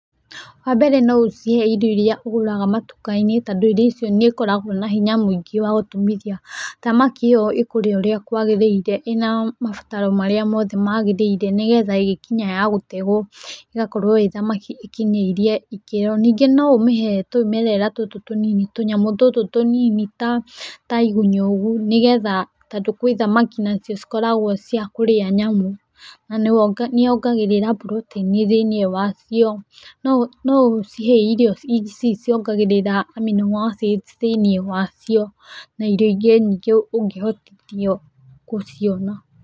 Wa mbere no ũcihe irio irĩa ũgũraga matuka-inĩ tondũ irio icio nĩ ikoragwo na hinya mũingĩ wa gũtumithia. Thamaki ĩyo ĩkũrĩa ũrĩa kwagĩrĩire ĩna mabataro mothe marĩa magĩrĩire nĩgetha ĩgĩkinya ya gũtegwo ĩgakorwo ĩĩ thamaki ĩkinyĩirie ikĩro. Ningĩ no ũmĩhe tũũmerera tũtũ tũnini, tũnyamũ tũtũ tũnini ta igunyũ ũguo nĩgetha tondũ gwĩ thamaki nacio cikoragwo cia kũrĩa nyamũ, na nĩ yongagĩrĩra [ccs] protein thĩinĩ wacio. No ũcihe irio ici ciongagĩrĩra amino acids thĩinĩ wacio na irio ingĩ nyingĩ ũngĩhotithio gũciona.